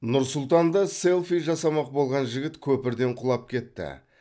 нұр сұлтанда селфи жасамақ болған жігіт көпірден құлап кетті